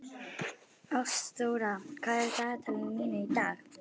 Ástþóra, hvað er í dagatalinu mínu í dag?